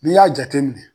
N'i y'a jateminɛ